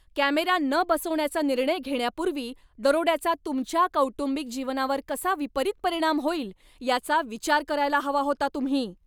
Camera न बसवण्याचा निर्णय घेण्यापूर्वी दरोड्याचा तुमच्या कौटुंबिक जीवनावर कसा विपरीत परिणाम होईल याचा विचार करायला हवा होता तुम्ही.